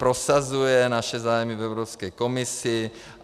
Prosazuje naše zájmy v Evropské komisi.